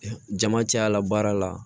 Jama cayala baara la